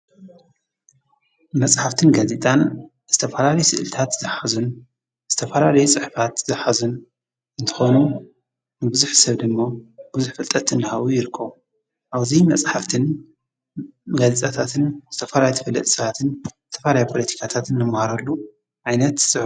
መፅሓፍትን ጋዜጣን ዝተፈላለዩ ስእልታት ዝሓዙን ዝተፈላለዩ ፅሑፋት ዝሓዙን እንትኮኑ ንብዙሕ ሰብ ድማ ብዙሕ ፍልጠት እንዳሃቡ ይርከቡ። ኣብዚ መፅሓፍትን ጋዜጣታትን ዝተፋላለዩ ተፈለጥቲ ሰባትን ዝተፈላለዩ ፖሎቲካታት እንመሃረሉ ዓይነት ፅሑፍ እዩ።